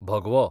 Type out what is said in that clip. भगवो